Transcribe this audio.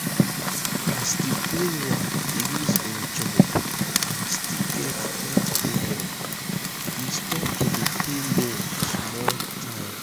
di savings group dey help members with money anytime emergency show.